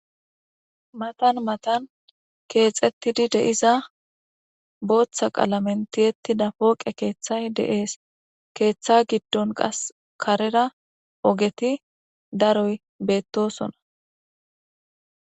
Matan matan keexettidi deiza booththa qalamentiyetti da pooqe keeththay deees keeththa giddon qas karera ogeti daroy beettosona.